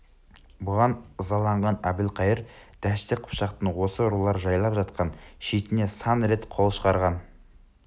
бұған ызаланған әбілқайыр дәшті қыпшақтың осы рулар жайлап жатқан шетіне сан рет қол шығарған